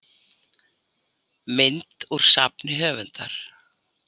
Mynd úr safni höfundar.